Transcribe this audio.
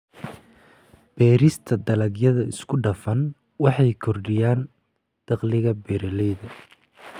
Beerista dalagyada isku dhafan waxay kordhiyaan dakhliga beeralayda.